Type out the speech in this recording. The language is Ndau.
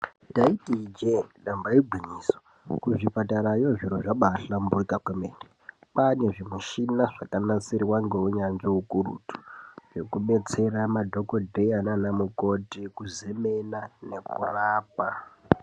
Ndaiti ijee ndamba igwinyiso. Kuzvipatarayo zviro zvambahlamburuka kwemene. Kwaane zvimichina zvakanasirwa ngeunyanzvi ukurutu, zvekudetsera madhokodheya naanamukoti kuzemena nekurapa..